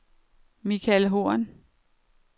Michael Horn